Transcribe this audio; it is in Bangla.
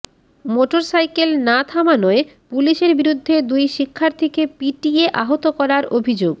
মোটরসাইকেল না থামানোয় পুলিশের বিরুদ্ধে দুই শিক্ষার্থীকে পিটিয়ে আহত করার অভিযোগ